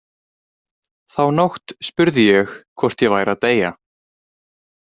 Þá nótt spurði ég hvort ég væri að deyja.